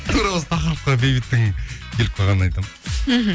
тура осы тақырыпқа бейбіттің келіп қалғанын айтамын мхм